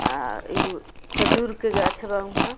हा एगो खजूर के गाछ बा ऊहाँ।